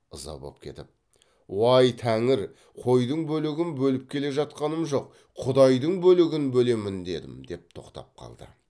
ыза боп кетіп уай тәңір қойдың бөлігін бөліп келе жатқаным жоқ құдайдың бөлігін бөлемін дедім деп тоқтап қалды